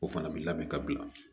O fana bɛ labɛn ka bila